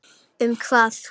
Um hvað?